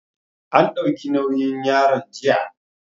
An ɗauki nauyin yaron jiya